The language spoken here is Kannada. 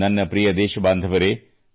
ನನ್ನ ಪ್ರಿಯ ದೇಶಬಾಂಧವರೆ